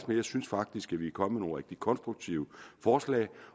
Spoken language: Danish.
synes faktisk at vi er kommet med nogle rigtig konstruktive forslag